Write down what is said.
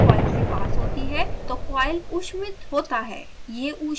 जब विद्युत धारा कॉइल से पास होती है तो कॉइल ऊष्मित होता है